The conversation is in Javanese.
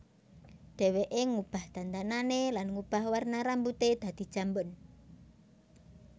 Dheweké ngubah dandanané lan ngubah warna rambuté dadi jambon